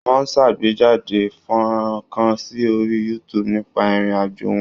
Wọ́n ṣàgbéjáde fọ́nrán kan sí orí YouTube nípa ìrìn àjò wọn.